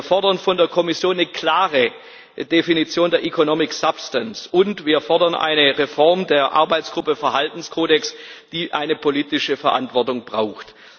Wir fordern von der Kommission eine klare Definition der economic substance, und wir fordern eine Reform der Arbeitsgruppe Verhaltenskodex, die eine politische Verantwortung braucht.